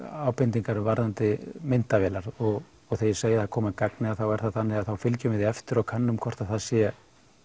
ábendingar varðandi myndavélar og þegar ég segi að þær komi að gagni er það þannig að við fylgjum þeim eftir og könnum hvort það sé